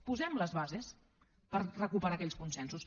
posem les bases per recuperar aquells consensos